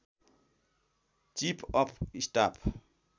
chief of staff